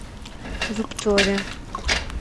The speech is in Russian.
зубцове